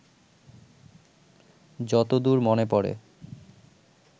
যত দূর মনে পড়ে